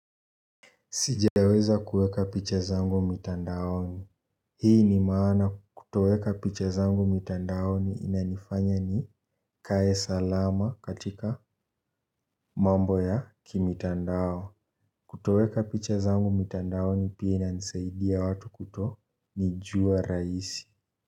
Sijaweza kueka picha zangu mitandaoni. Hii ni maana kutoweka picha zangu mitandaoni inanifanya ni kae salama katika mambo ya kimitandao. Kutoweka picha zangu mitandaoni pia inanisaidia watu kutonijua rahisi.